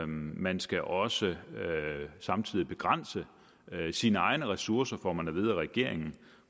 man skal også samtidig begrænse sine egne ressourcer får man at vide af regeringen